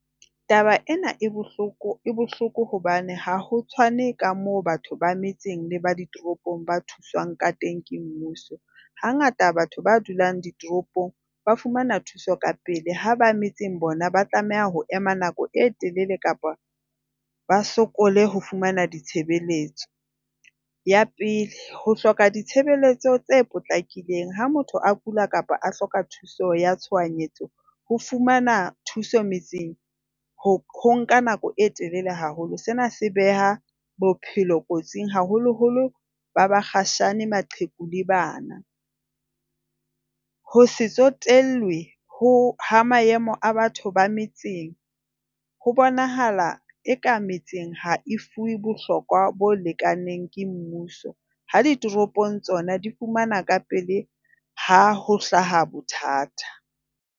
Taba ena e bohloko, e bohloko hobane ha ho tshwane ka moo batho ba metseng le ba ditoropong ba thusang ka teng ke mmuso. Hangata batho ba dulang ditoropong ba fumana thuso kapele ha ba metseng bona ba tlameha ho ema nako e telele kapa ba sokole ho fumana ditshebeletso. Ya pele, ho hloka ditshebeletso tse potlakileng ha motho a kula kapa a hloka thuso ya tshohanyetso, ho fumana thuso metseng ho ho nka nako e telele haholo. Sena se beha bophelo kotsing haholoholo ba bakgatjhane, maqheku le bana. Ho se tsotellwe ho ha maemo a batho ba metseng ho bonahala eka metseng ha e fuwe bohlokwa bo lekaneng ke mmuso, ha di toropong tsona di fumana ka pele ha ho hlaha bothata.